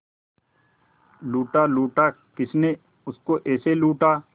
लूटा लूटा किसने उसको ऐसे लूटा